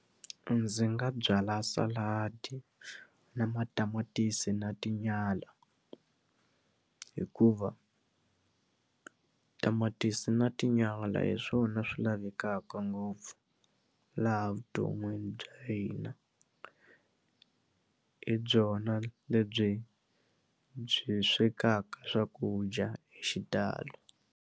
Ndzi nga byala saladi na matamatisi na tinyala hikuva tamatisi na tinyala hi swona swi lavekaka ngopfu laha vuton'wini bya hina hi byona lebyi byi swekaka swakudya hi xitalo.